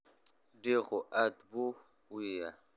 Diiqu aad buu u ciyaa.